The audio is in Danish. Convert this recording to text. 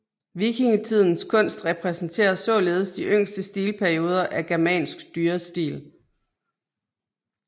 Vikingetidens kunst repræsenterer således de yngste stilperioder af germansk dyrestil